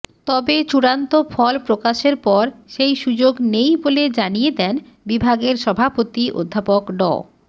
তবে চূড়ান্ত ফল প্রকাশের পর সেই সুযোগ নেই বলে জানিয়ে দেন বিভাগের সভাপতি অধ্যাপক ড